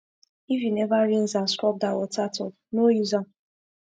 if u never rinse and scrub dat water tub no use am